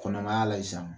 Kɔnɔmaya la sisan